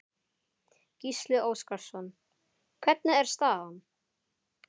Gísli Óskarsson: Hvernig er staðan?